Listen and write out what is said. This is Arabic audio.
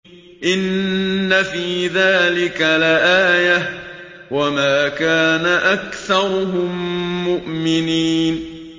إِنَّ فِي ذَٰلِكَ لَآيَةً ۖ وَمَا كَانَ أَكْثَرُهُم مُّؤْمِنِينَ